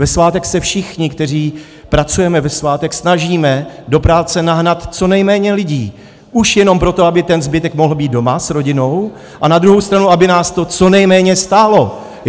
Ve svátek se všichni, kteří pracujeme ve svátek, snažíme do práce nahnat co nejméně lidí, už jenom proto, aby ten zbytek mohl být doma s rodinou a na druhou stranu aby nás to co nejméně stálo.